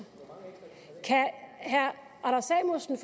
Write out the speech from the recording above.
herre anders samuelsen